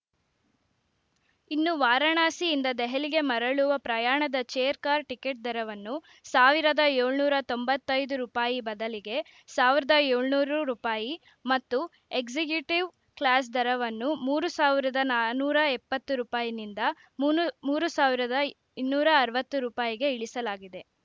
ಇನ್ನು ವಾರಾಣಸಿಯಿಂದ ದೆಹಲಿಗೆ ಮರಳುವ ಪ್ರಯಾಣದ ಚೇರ್‌ ಕಾರ್‌ ಟಿಕೆಟ್‌ ದರವನ್ನು ಸಾವಿರದ ಏಳನೂರ ತೊಂಬತ್ತೈದು ರೂಪಾಯಿ ಬದಲಿಗೆ ಸಾವಿರದ ಏಳನೂರು ರೂಪಾಯಿ ಮತ್ತು ಎಕ್ಸಿಕ್ಯೂಟಿವ್‌ ಕ್ಲಾಸ್‌ ದರವನ್ನು ಮೂರು ಸಾವಿರದ ನಾನೂರ ಎಪ್ಪತ್ತು ರೂಪಾಯಿನಿಂದ ಮೂನು ಮೂರು ಸಾವಿರದ ಇನ್ನೂರ ಅರವತ್ತು ರೂಪಾಯಿಗೆ ಇಳಿಸಲಾಗಿದೆ